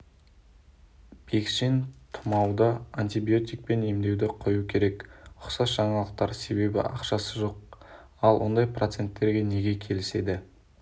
бекшин тұмауды антибиотикпен емдеуді қою керек ұқсас жаңалықтар себебі ақшасы жоқ ал ондай проценттерге неге келіседі